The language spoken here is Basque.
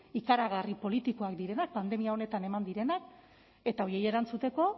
ikaragarri politikoak direnak pandemia honetan eman direnak eta horiei erantzuteko